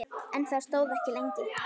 En það stóð ekki lengi.